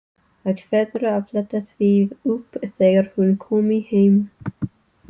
Ákveður að fletta því upp þegar hún komi heim.